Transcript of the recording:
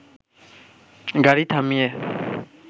গাড়ি থামিয়ে